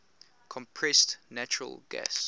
compressed natural gas